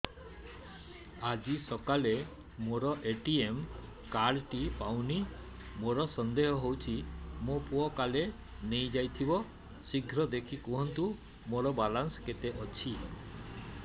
ଆଜି ସକାଳେ ମୋର ଏ.ଟି.ଏମ୍ କାର୍ଡ ଟି ପାଉନି ମୋର ସନ୍ଦେହ ହଉଚି ମୋ ପୁଅ କାଳେ ନେଇଯାଇଥିବ ଶୀଘ୍ର ଦେଖି କୁହନ୍ତୁ ମୋର ବାଲାନ୍ସ କେତେ ଅଛି